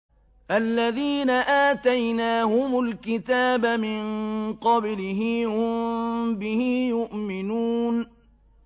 الَّذِينَ آتَيْنَاهُمُ الْكِتَابَ مِن قَبْلِهِ هُم بِهِ يُؤْمِنُونَ